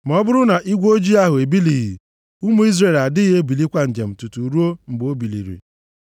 Ma ọ bụrụ na igwe ojii ahụ ebilighị, ụmụ Izrel adịghị ebulikwa njem tutuu ruo mgbe o biliri.